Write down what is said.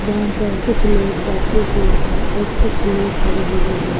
जहां पर कुछ लोग बैठे हुए हैं और कुछ लोग खड़े हुए हैं।